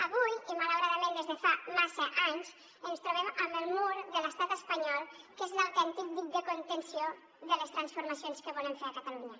avui i malauradament des de fa massa anys ens trobem amb el mur de l’estat espanyol que és l’autèntic dic de contenció de les transformacions que volem fer a catalunya